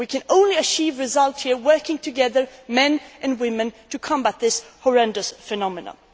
We can only achieve results here if we work together, men and women, to combat this horrendous phenomenon.